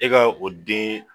E ga o den